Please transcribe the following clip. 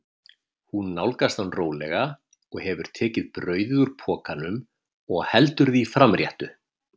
Hún nálgast hann rólega og hefur tekið brauðið úr pokanum og heldur því framréttu.